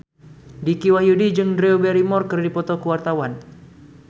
Dicky Wahyudi jeung Drew Barrymore keur dipoto ku wartawan